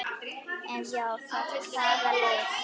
Ef já þá hvaða lið?